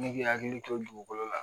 Ne k'i hakili to dugukolo la